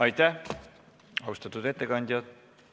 Aitäh, austatud ettekandja!